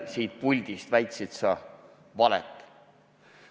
Siit puldist väitsid sa valet.